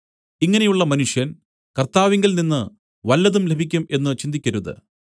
ഇങ്ങനെയുള്ള മനുഷ്യൻ കർത്താവിങ്കൽനിന്ന് വല്ലതും ലഭിക്കും എന്ന് ചിന്തിക്കരുത്